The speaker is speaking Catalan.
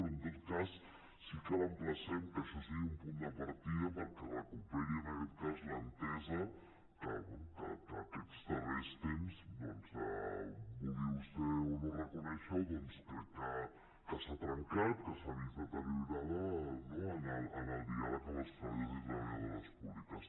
però en tot cas sí que l’emplacem que això sigui un punt de partida perquè es recuperi en aquest cas l’entesa que bé que aquests darrers temps doncs vulgui vostè o no reconèixer ho crec que s’ha trencat que s’ha vist deteriorada no en el diàleg amb els treballadors i treballadores públiques